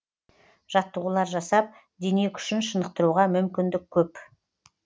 жаттығулар жасап дене күшін шынықтыруға мүмкіндік көп